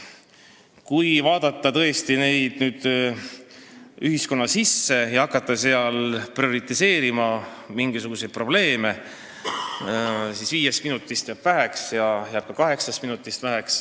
Kui vaadata nüüd ühiskonda ja hakata prioriseerima mingisuguseid probleeme, siis jääb viiest minutist väheks ja jääb ka kaheksast minutist väheks.